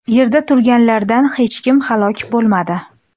Yerda turganlardan hech kim halok bo‘lmadi.